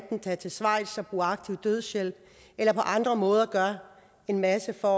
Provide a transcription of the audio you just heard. tage til schweiz og af aktiv dødshjælp eller på andre måder gøre en masse for